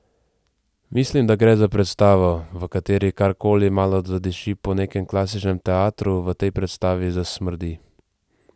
Mislim, da gre za predstavo, v kateri kar koli malo zadiši po nekem klasičnem teatru, v tej predstavi zasmrdi.